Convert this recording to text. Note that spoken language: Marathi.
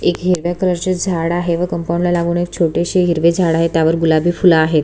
एक हिरव्या कलर चे झाड आहे व कंपाउंड ला लागुन एक छोटेसे हिरवे झाड़ आहे त्यावर गुलाबी फुल आहेत.